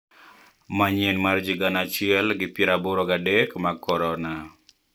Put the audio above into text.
Manyien mar ji gana achiel gi pier aboro ga adek mag korona